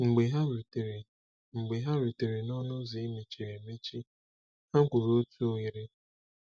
Mgbe ha rutere Mgbe ha rutere n'ọnụ ụzọ e mechiri emechi, ha gwuru otu oghere.